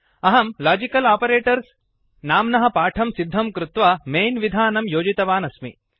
अहं logical operators logical operators नाम्नः पाठं सिद्धं कृत्वा मैन् विधानं योजितवन् अस्मि